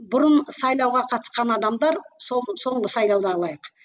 бұрын сайлауға қатысқан адамдар соңғы соңғы сайлауды алайық